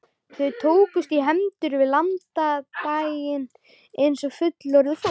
Þau tókust í hendur við landganginn eins og fullorðið fólk.